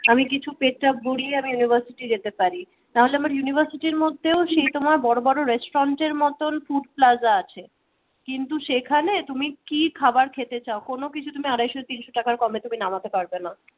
আমি কিছু পেট টা ভরিয়ে আমি university যেতে পারি তাহলে আমার university র মধ্যেও সেই তোমার বড় বড় restaurant এর মতন food plaza আছে কিন্তু সেখানে তুমি কি খাবার খেতে চাও কোনও কিছু আড়াইশো তিনশো টাকার কমে তুমি নামাতে পারবে না।